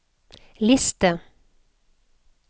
liste